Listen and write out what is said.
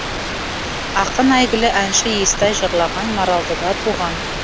ақын әйгілі әнші естай жырлаған маралдыда туған